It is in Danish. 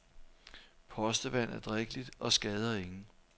Postevand er drikkeligt og skader ingen.